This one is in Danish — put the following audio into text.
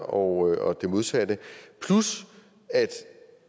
og det modsatte plus at